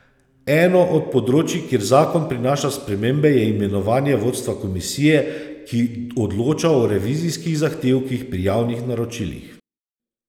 Eno od področij, kjer zakon prinaša spremembe, je imenovanje vodstva komisije, ki odloča o revizijskih zahtevkih pri javnih naročilih.